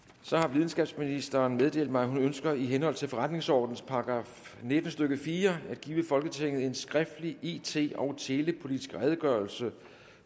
videnskabsministeren har meddelt mig at hun ønsker i henhold til forretningsordenens § nitten stykke fire at give folketinget en skriftlig it og telepolitisk redegørelse